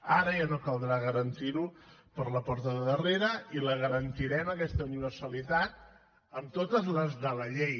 ara ja no caldrà garantir ho per la porta de darrere i la garantirem aquesta universalitat amb totes les de la llei